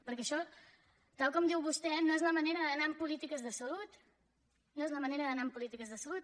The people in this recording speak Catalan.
perquè això tal com diu vostè no és la manera d’anar en polítiques de salut no és la manera d’anar en polítiques de salut